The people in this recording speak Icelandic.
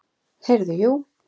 Heyrðu, jú.